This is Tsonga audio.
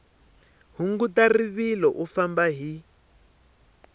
hunguta rivilo u famba hi